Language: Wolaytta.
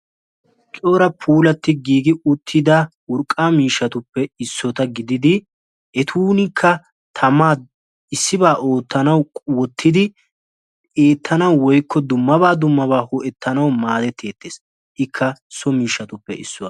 Cora puulati gigi uttida urqqa miishshatupe issota gididi ettunika tamaa issiba oottanawu wottidi eettanawu woykko dummaba dummaba goettanawu maadetetees. So miishshatuppe issuwaa.